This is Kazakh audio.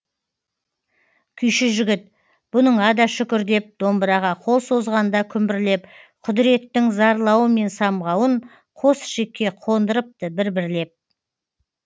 күйші жігіт бұныңа да шүкір деп домбыраға қол созғанда күмбірлеп құдіреттің зарлауы мен самғауын қос ішекке қондырыпты бір бірлеп